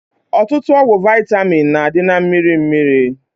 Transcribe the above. Ọtụtụ ọgwụ vaịtamin na-adị na mmiri mmiri